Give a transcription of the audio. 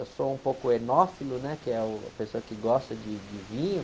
Eu sou um pouco enófilo, que é a pessoa que gosta de, de vinho,